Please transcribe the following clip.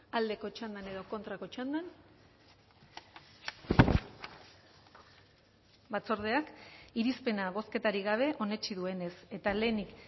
aldeko txandan edo kontrako txandan batzordeak irizpena bozketarik gabe onetsi duenez eta lehenik